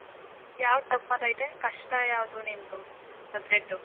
ಯಾವ್ದ್ tough ಆಯ್ತೈತೆ, ಕಷ್ಟ ಯಾವದು ನಿಂದು subject ಉ?